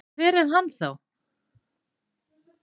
Hver er hann þá?